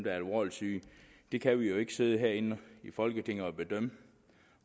er alvorligt syge det kan vi jo ikke sidde herinde i folketinget og bedømme